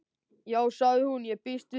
Já sagði hún, ég býst við því